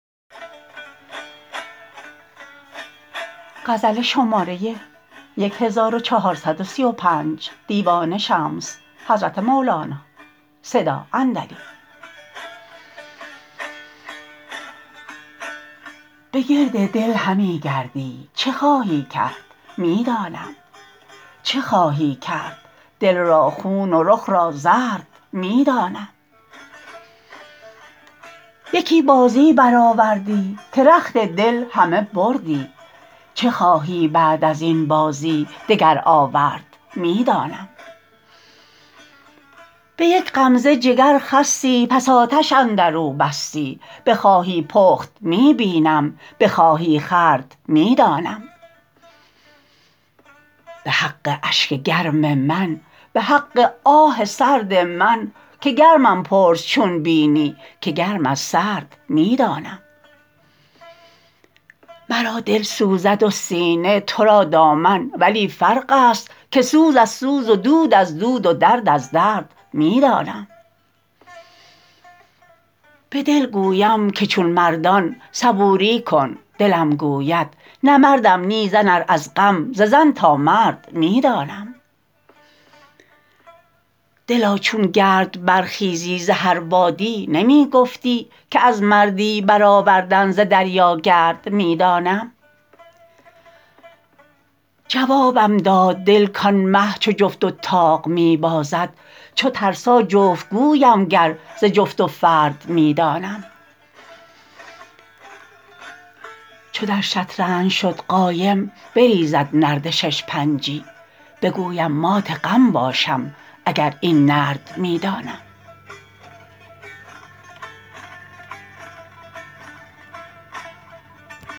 به گرد دل همی گردی چه خواهی کرد می دانم چه خواهی کرد دل را خون و رخ را زرد می دانم یکی بازی برآوردی که رخت دل همه بردی چه خواهی بعد از این بازی دگر آورد می دانم به یک غمزه جگر خستی پس آتش اندر او بستی بخواهی پخت می بینم بخواهی خورد می دانم به حق اشک گرم من به حق آه سرد من که گرمم پرس چون بینی که گرم از سرد می دانم مرا دل سوزد و سینه تو را دامن ولی فرق است که سوز از سوز و دود از دود و درد از درد می دانم به دل گویم که چون مردان صبوری کن دلم گوید نه مردم نی زن ار از غم ز زن تا مرد می دانم دلا چون گرد برخیزی ز هر بادی نمی گفتی که از مردی برآوردن ز دریا گرد می دانم جوابم داد دل کان مه چو جفت و طاق می بازد چو ترسا جفت گویم گر ز جفت و فرد می دانم چو در شطرنج شد قایم بریزد نرد شش پنجی بگویم مات غم باشم اگر این نرد می دانم